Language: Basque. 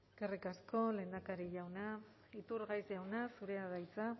eskerrik asko lehendakari jauna iturgaiz jauna zurea da hitza